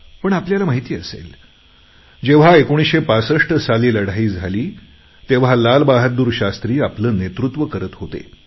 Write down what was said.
पण आपल्याला माहिती असेल जेव्हा 1965 साली लढाई झाली तेव्हा लालबहादूर शास्त्री आपले नेतृत्व करत होते